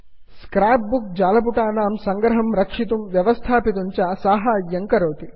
scrap book scrapbook जालपुटानां सङ्ग्रहं रक्षितुं व्यवस्थापयितुं च साहाय्यं करोति